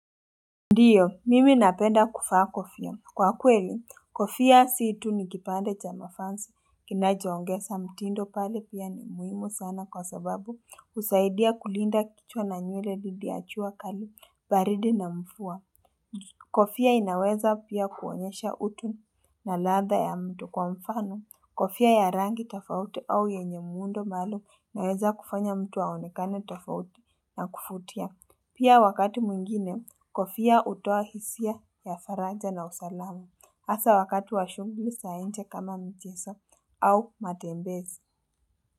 Ndiyo, mimi napenda kuvaa kofia. Kwa kweli, kofia situ ni kipande cha mavazi. Kinachoongeza mtindo pale pia ni muhimu sana kwa sababu husaidia kulinda kichwa na nywele didi ya jua kali, baridi na mvua. Kofia inaweza pia kuonyesha utu na ladha ya mtu kwa mfano. Kofia ya rangi tafauti au yenye muundo maalum yaweza kufanya mtu aonekane tafauti na kuvutia. Pia wakati mwingine, kofia hutoa hisia ya faraja na usalama. Hasa wakati wa shughuli za nje kama mchezo au matembezi.